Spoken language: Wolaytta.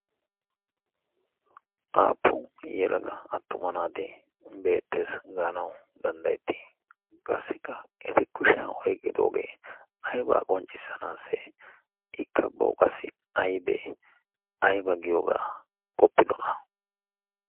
aappu yelaga attuma naati beettees gaanau danddayettii qassikka eti kushiya oiqgidoogee aibaa qonccissanaassi ikka pouqassi aybee? ayba giyoogaa qoppidona?